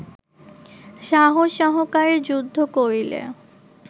সাহস সহকারে যুদ্ধ করিলে